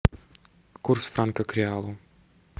курс франка к реалу